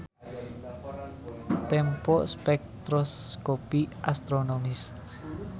Tempo spektroskopi astronomis.